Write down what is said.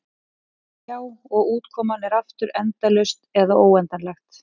Svarið er já, og útkoman er aftur endalaust eða óendanlegt.